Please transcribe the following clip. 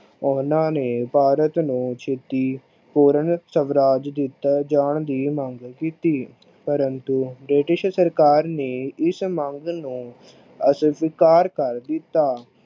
ਉਹਨਾਂ ਨੇ ਭਾਰਤ ਨੂੰ ਛੇਤੀ ਪੂਰਨ ਸਵਰਾਜ ਦਿਤੇ ਜਾਨ ਦੀ ਮੰਗ ਕੀਤੀ। ਪ੍ਰੰਤੂ british ਸਰਕਾਰ ਨੇ ਇਸ ਮੰਗ ਨੂੰ ਅਸਵੀਕਾਰ ਕਰ ਦਿਤਾ ।